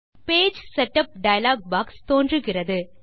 page setup dialog box தோன்றுகிறது